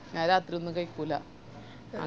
ഞാൻ രാത്രി ഒന്നും കൈക്കൂല